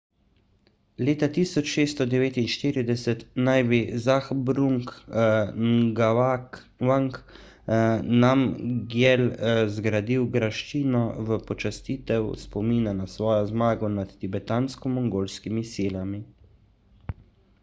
leta 1649 naj bi zhabdrung ngawang namgyel zgradil graščino v počastitev spomina na svojo zmago nad tibetansko-mongolskimi silami